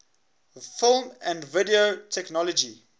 film and video technology